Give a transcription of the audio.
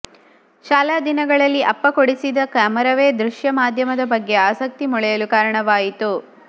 ಶಾಲಾ ದಿನಗಳಲ್ಲಿ ಅಪ್ಪ ಕೊಡಿಸಿದ ಕ್ಯಾಮೆರಾವೇ ದೃಶ್ಯ ಮಾಧ್ಯಮದ ಬಗ್ಗೆ ಆಸಕ್ತಿ ಮೊಳೆಯಲು ಕಾರಣವಾಯಿತು